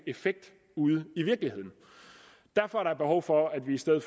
effekt ude i virkeligheden derfor er der behov for at vi sætter